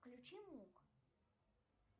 включи мук